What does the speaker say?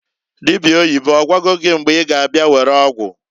Dịbịa oyibo, ọgwago gị mgbe I ga abịa were ọgwụ?